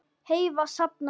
Heiða safnaði